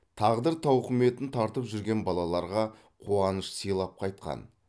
тағдыр тауқыметін тартып жүрген балаларға қуаныш сыйлап қайтқан